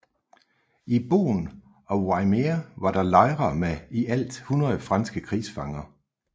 I Boen og Wymeer var der lejre med i alt 100 franske krigsfanger